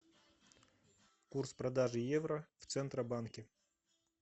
курс продажи евро в центробанке